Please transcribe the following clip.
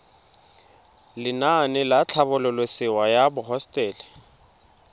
lenaane la tlhabololosewa ya hosetele